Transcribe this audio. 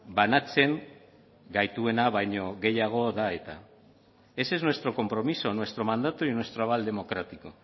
banatzen gaituena baino gehiago da eta ese es nuestro compromiso nuestro mandato y nuestro aval democrático